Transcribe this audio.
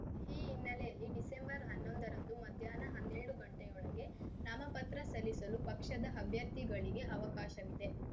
ಈ ಹಿನ್ನೆಲೆಯಲ್ಲಿ ಡಿಸೆಂಬರ್ಹನ್ನೊಂದರಂದು ಮಧ್ಯಾಹ್ನ ಹನ್ನೆರಡು ಗಂಟೆಯೊಳಗೆ ನಾಮಪತ್ರ ಸಲ್ಲಿಸಲು ಪಕ್ಷದ ಅಭ್ಯರ್ಥಿಗಳಿಗೆ ಅವಕಾಶವಿದೆ